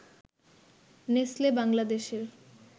Nestle বাংলাদেশের